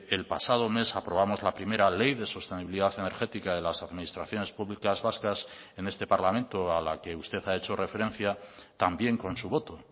el pasado mes aprobamos la primera ley de sostenibilidad energética de las administraciones públicas vascas en este parlamento a la que usted ha hecho referencia también con su voto